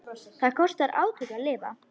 Það kostar átök að lifa.